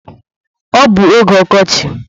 Ọ bụ oge ọkọchi.